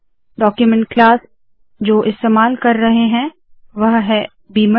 document class जो इस्तेमाल कर रहे है वोह है बीमर